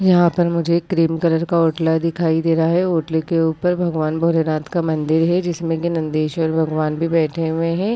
यहाँ पर मुझे क्रीम कलर का ओटला दिखाई दे रहा है ओटले के ऊपर भगवान भोलेनाथ का मंदिर है जिसमे के नंदेश्वर भगवान भी बैठे हुए है।